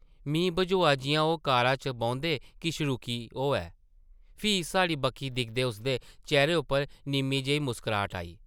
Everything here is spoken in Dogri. मी बझोआ जिʼयां ओह् कारा च बौंह्दे किश रुकी होऐ, फ्ही साढ़ी बक्खी दिखदे उसदे चेह्रे उप्पर निʼम्मी जेही मुस्कराहट आई ।